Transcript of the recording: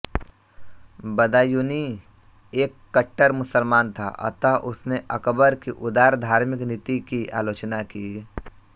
बदायूंनी एक कट्टर मुसलमान था अतः उसने अकबर की उदार धार्मिक नीति की आलोचना की